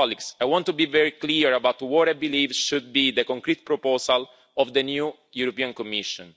I want to be very clear about what I believe should be the concrete proposal of the new European Commission.